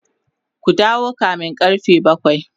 ku dawo kamin karfe bakwai!